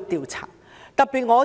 調查。